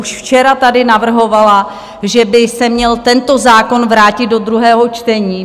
Už včera tady navrhovala, že by se měl tento zákon vrátit do druhého čtení.